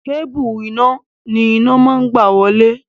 Kébùù iná ni iná ń gbà wọlé.